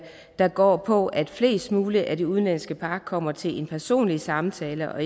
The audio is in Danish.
der går på at flest mulige af de udenlandske par kommer til en personlig samtale og